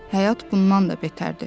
Həyat bundan da betərdir.